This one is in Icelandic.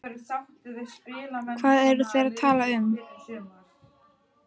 Hvað eru þeir að tala um?